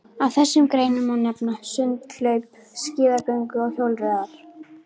Af þessum greinum má nefna sund, hlaup, skíðagöngu og hjólreiðar.